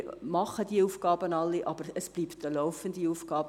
Denn wir machen diese Aufgaben alle, aber es bleibt eine laufende Aufgabe.